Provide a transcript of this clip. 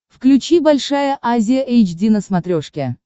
включи большая азия эйч ди на смотрешке